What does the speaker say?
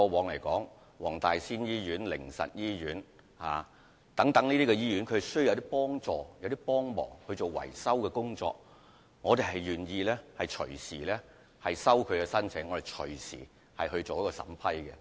例如，黃大仙醫院、靈實醫院等過往亦曾在年度捐款計劃外提出捐款申請，我們願意隨時接受他們的申請，並願意隨時進行審批。